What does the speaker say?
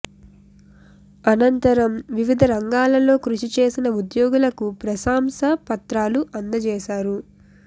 అనంతరం వివిద రంగాలలో కృషి చేసిన ఉద్యోగులకు ప్రశాంస పత్రాలు అందచేశారు